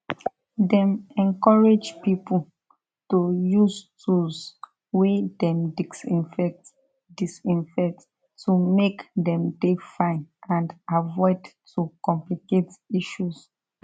dem encourage pipo to use tools wey dem disinfect disinfect to make dem dey fine and avoid to complicate issues